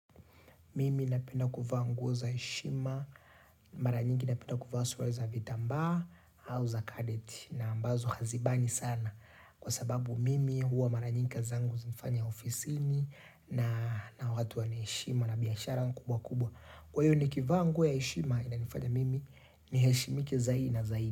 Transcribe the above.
Mimi napenda kuvaa nguo wa heshima. Mara nyingi napenda suruali za vitambaa au za kadeti. Na ambazo hazibani sana. Kwa sababu mimi huwa mara nyingi kazi zangu hufanya ofisini na na watu wanaheshima na biashara kubwa kubwa. Kwa hiyo nikivaa nguo ya heshima inanifanya mimi niheshimike zaidi na zaidi.